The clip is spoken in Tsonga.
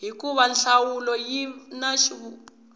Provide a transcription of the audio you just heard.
hikuva nhlamulo yi na vuxaka